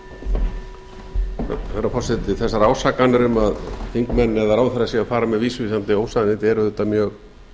herra forseti þessar ásakanir um að þingmenn eða ráðherra séu að fara með vísvitandi ósannindi eru auðvitað mjög